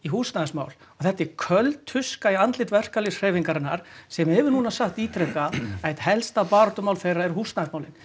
húsnæðismál og þetta er köld tuska í andlit verkalýðshreyfingarinnar sem hefur núna sagt ítrekað að eitt helsta baráttumál þeirra er húsnæðismálin